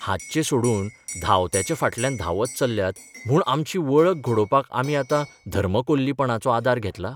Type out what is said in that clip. हातचें सोडून धांवत्याच्या फाटल्यान धांवत चल्ल्यात म्हूण आमची 'वळख 'घडोवपाक आमी आतां धर्मकोल्लीपणाचो आदार घेतला?